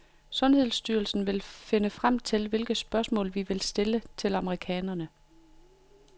Sundhedsstyrelsen vil finde frem til, hvilke spørgsmål, vi vil stille til amerikanerne.